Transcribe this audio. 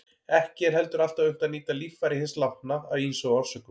Ekki er heldur alltaf unnt að nýta líffæri hins látna af ýmsum orsökum.